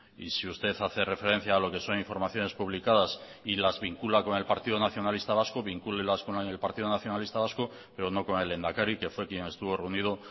y si usted hace referencia a lo que son informaciones publicadas y las vincula con el partido nacionalista vasco vincúlelas con el partido nacionalista vasco pero no con el lehendakari que fue quien estuvo reunido